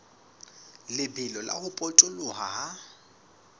lebelo la ho potoloha ha